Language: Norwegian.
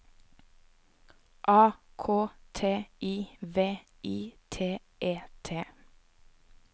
A K T I V I T E T